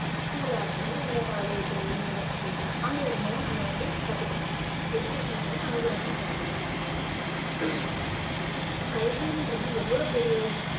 school ஆ இருக்கட்டும் இல்ல college universities ஓ அங்கிருந்து தான் நம்ம வந்து கத்துக்குறோம். education வந்து அங்கிருந்து தான் கிடைக்குது. கல்வின்றது எவ்வளவு பெரிய